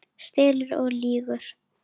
Stelur og lýgur!